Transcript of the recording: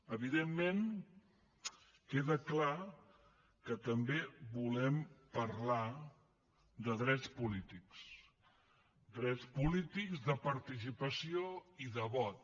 evidentment queda clar que també volem parlar de drets polítics drets polítics de participació i de vot